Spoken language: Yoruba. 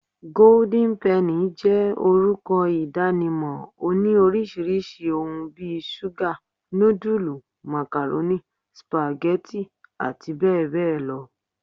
Golden penny jé orúkọ ìdánimọ̀, oní orisirisi òhún bí ṣuga, nudulú, macaroni, spaghetti àti bẹẹ bẹẹ lọ